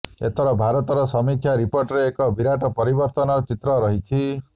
ଏଥର ଭାରତର ସମୀକ୍ଷା ରିପୋର୍ଟରେ ଏକ ବିରାଟ ପରିବର୍ତ୍ତନର ଚିତ୍ର ରହିଛି